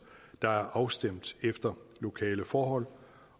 der er afstemt efter lokale forhold